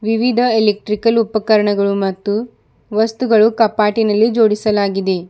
ವಿವಿಧ ಎಲೆಕ್ಟ್ರಿಕಲ್ ಉಪಕರಣಗಳು ಮತ್ತು ವಸ್ತುಗಳು ಕಪಾಟಿನಲ್ಲಿ ಜೋಡಿಸಲಾಗಿದೆ.